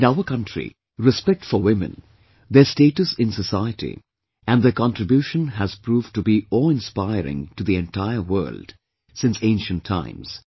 In our country, respect for women, their status in society and their contribution has proved to be awe inspiring to the entire world, since ancient times